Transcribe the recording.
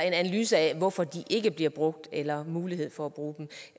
en analyse af hvorfor de ikke bliver brugt eller muligheden for